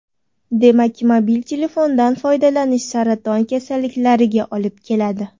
Demak, mobil telefondan foydalanish saraton kasalliklariga olib keladi.